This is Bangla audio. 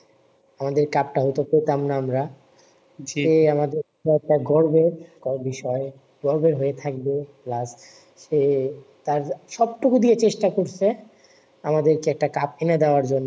আমাদের কাপ হয়তো আমরা সে আমাদের একটা গর্বের ক বিষয় গর্বের হয়ে থাকবে plus সে তার সব টুকু দিয়ে চেষ্টা করছে আমাদেরকে একটা কাপ এনে দেওয়ার জন্য